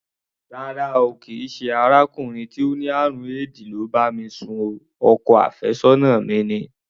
Rárá o, kì í ṣe arákùnrin tó ní àrùn éèdì ló bá mi sùn o, ọkọ àfẹ́sọ́nà mi ni.